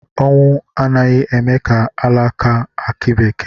Ọnwụ anaghị eme ka alaka akị bekee